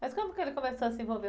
Mas como que ele começou a se envolver?